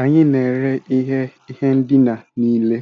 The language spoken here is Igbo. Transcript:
Anyị na-ere ihe ihe ndina niile